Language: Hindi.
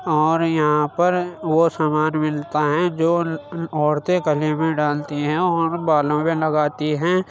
और यहाँ पर वो सामना मिलता हैं जो औरतें कहीं भी डालती हैं और बालों मे लगती हैं।